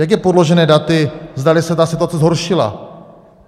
Jak je podložené daty, zdali se ta situace zhoršila?